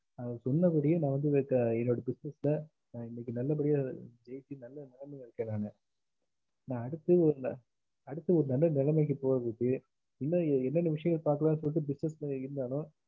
அவரு சொன்னபடியே நா வந்து என்னோட business ஆஹ் இன்னைக்கு நல்லபடியா உயர்த்தி நல்ல நிலைமைல இருக்கேன் நானு நா அடுத்து ஒரு நல்ல நெலமைக்கு போறதுக்க இன்னும் என்னென்ன விஷயங்கள் பாக்கலன்னு சொல்லிட்டு business இருந்தாலும்